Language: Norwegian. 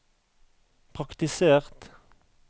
praktisert